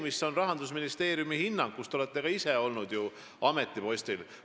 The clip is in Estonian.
Muutunud on ju Rahandusministeeriumi hinnang, kus te olete ka ise ametipostil olnud.